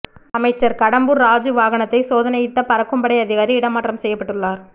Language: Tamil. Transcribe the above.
அமைச்சர் கடம்பூர் ராஜூ வாகனத்தை சோதனையிட்ட பறக்கும்படை அதிகாரி இடமாற்றம் செய்யப்பட்டுள்ளார்